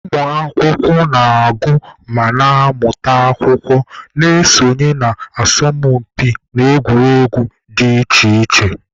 Ụmụ akwụkwọ na-agụ ma na-amụta akwụkwọ, na-esonye na asọmụpi na egwuregwu dị iche iche.